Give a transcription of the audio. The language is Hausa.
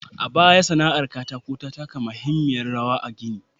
A baya, sana'ar aikin katako ta taka muhimmiyar rawar a gini.